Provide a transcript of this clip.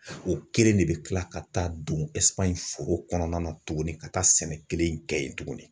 O kelen de bɛ kila ka taa don foro kɔnɔna na tuguni ka taa sɛnɛ kelen in kɛ yen tuguni.